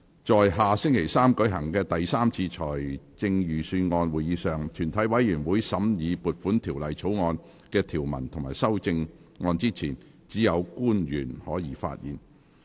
在下星期三舉行的第三次財政預算案會議上，全體委員會審議撥款條例草案的條文及修正案之前，只有官員可以發言。